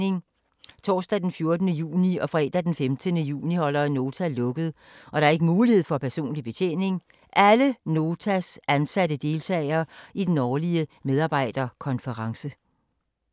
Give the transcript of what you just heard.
Torsdag den 14. juni og fredag den 15. juni holder Nota lukket, og der er ikke mulighed for personlig betjening. Alle Notas ansatte deltager i den årlige medarbejderkonference.